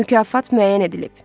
Mükafat müəyyən edilib.